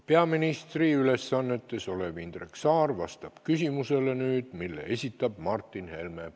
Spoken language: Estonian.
Peaministri ülesannetes olev Indrek Saar vastab nüüd küsimusele, mille esitab Martin Helme.